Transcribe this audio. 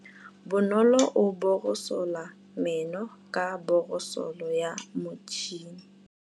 Bonolô o borosola meno ka borosolo ya motšhine.